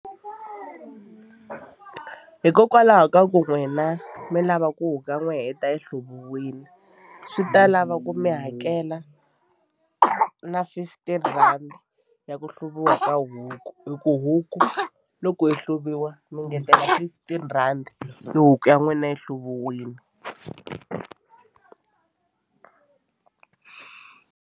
Hikokwalaho ka ku n'wina mi lava ku huku ya n'we yita yi hluviwile swi ta lava ku mi hakela na fifteen rhandi ya ku hluviwa ka huku hi ku huku loko yi hluvisiwa mi ngetelela fifteen rhandi huku ya n'wina yi hluviwile.